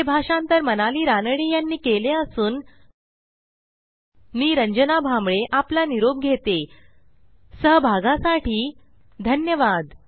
हे भाषांतर मनाली रानडे ह्यांनी केले असून मी रंजना भांबळे आपला निरोप घेतेसहभागा साठी धन्यवाद